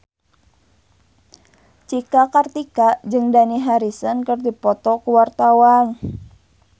Cika Kartika jeung Dani Harrison keur dipoto ku wartawan